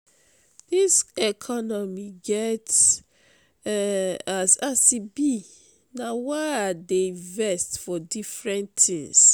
dis economy get um as e be na why i dey invest for different tins.